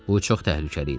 Bu çox təhlükəli idi.